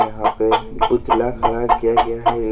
यहां पे पुतला खड़ा किया गया है।